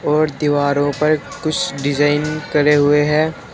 और दीवारों पर कुछ डिजाइन करे हुए हैं।